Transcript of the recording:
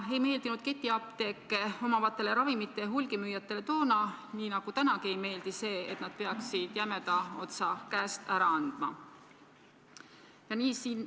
Ei meeldinud ketiapteeke omavatele ravimite hulgimüüjatele toona, nii nagu see tänagi neile ei meeldi, et nad peaksid jämeda otsa käest ära andma.